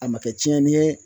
A ma kɛ tiɲɛni ye